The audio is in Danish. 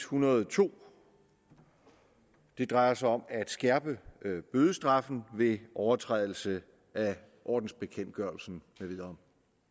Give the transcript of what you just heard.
hundrede og to drejer sig om at skærpe bødestraffen ved overtrædelse af ordensbekendtgørelsen med videre